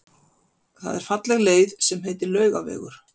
Það er falleg leið sem heitir Laugavegur.